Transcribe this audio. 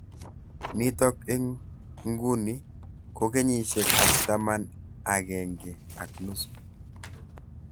Nitok eng nguni ko kenyishek ab taman agenge ak nusu.